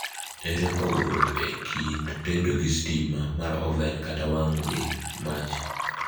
ere pogruok e kind tedo gi stima mar oven kata wango gi mach